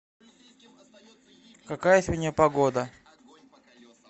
какая сегодня погода